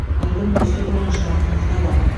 айдың үздік ойыншыларын анықтады